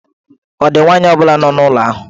Ọ̀ dị nwaanyị ọ bụla nọ n'ụlọ ahụ?